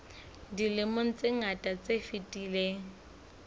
dilemong tse ngata tse fetileng